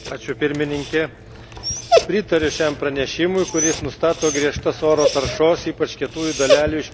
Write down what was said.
Pritariu šiam pranešimui, kuris nustato griežtas oro taršos, ypač kietųjų dalelių, išmetimo mažinimo prievoles.